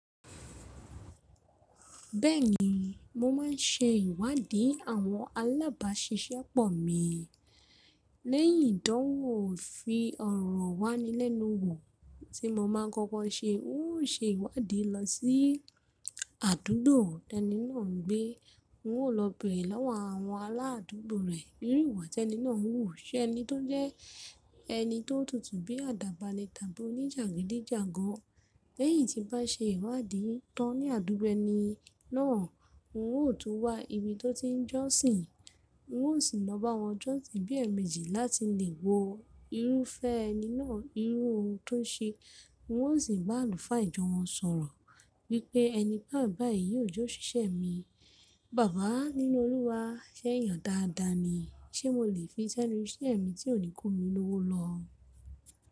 Bẹ́ẹ̀ni, mo máa ń se ìwádìí àwọn alábàáṣiṣẹ́pọ̀ mi. Lẹ́yìn ìdánwò ìfi ọ̀rọ̀ wáni lẹ́nu wò tí mo máa n kọ́kọ́ ṣe, n ó ṣe ìwádìí lọ sí àdúgbò tí ẹni náà ń gbé. N ó lọ bèèrè lọ́wọ́ àwọn aláàdúgbò rẹ̀, bí i ìwà tí ẹni náà ń hù, ṣé ẹni tó jẹ́ ẹni tó tutù bí àdàbà ní tàbí oníjàgídíjàgan. Lẹ́yìn tí bá ṣe ìwádìí tán ní àdúgbò ẹni náà, n ó tún wá ibi tó ti ń jọ́sìn. N ó sì lọ bá wọn jọ́sìn bí ẹ̀mejì láti lè wo irúfẹ́ ẹni náà, irú ohun tó ń ṣe. N ó sì bá àlùfáà ìjọ wọn sọ̀rọ̀ wípé ẹni báyíìń bá èyí yóò jọ́ ṣiṣẹ́ mi. Bàbá nínú Olúwa, ṣé èyàn dáadáa ni? Ṣé mo lè fi sẹ́nu iṣẹ́ mi tí ò ní kó mi lówó lọ?